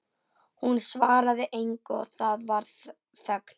Hún svaraði engu og það varð þögn.